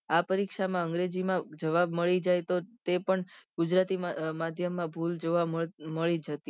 આ પરીક્ષા માં અગ્રેજી માં જવાબ મળી જાય તો તે પણ ગુજરાતી માધ્યમમાં ભૂલ જોવા મળી જતી